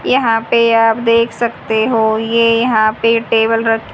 यहां पे आप देख सकते हो ये यहां पे टेबल रख--